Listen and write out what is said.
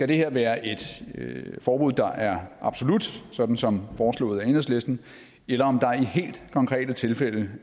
det her være et forbud der er absolut sådan som foreslået af enhedslisten eller om der i helt konkrete tilfælde